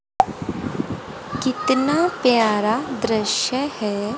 कितना प्यारा दृश्य है।